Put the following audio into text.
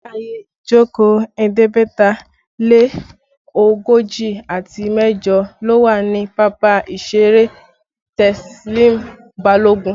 Ààyè ìjókòó ẹ̀ẹ́dẹ́gbẹ̀ta lé ogójì àti mẹ́jọ ló wà ní pápá ìṣeré Teslim Balogun